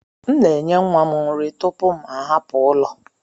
M na enye nwa m nri tupu m ahapụ ụlọ.